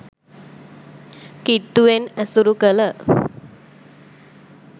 කිට්ටුවෙන් ඇසුරු කළ